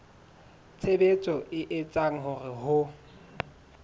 tshebetso e etsang hore ho